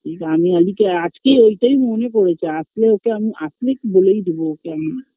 এই গানে আলীকে আজকেই এইটাই মনে পরেছে আসলে ওকে আমি আসলে বলেই দেব ওকে আমি